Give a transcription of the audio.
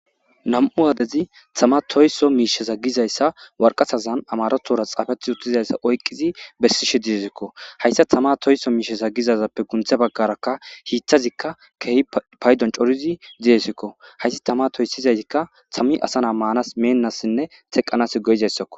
nam7u aadezi tama toyso miishesa gizayssa warqasazan amarothora xaafethi uttizayssa oyqqizi bessi shedizzikko hayssa tama toyso miishesa gizazappe gunthe baggarakka hiithazikka keehi paydon corizi diyesikko hayssi tama toyssizayikka tammi asanaa maanas meennassinne teqqanas goyizayssakko